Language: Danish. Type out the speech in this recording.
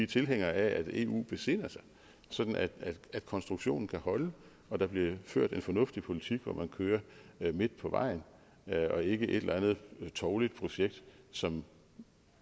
tilhængere af at eu besinder sig sådan at konstruktionen kan holde og der bliver ført en fornuftig politik hvor man kører midt på vejen ikke et eller andet tåbeligt projekt som